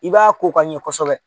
I b'a ko ka ɲɛ kosɛbɛ.